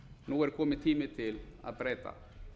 nú er kominn tími til að breyta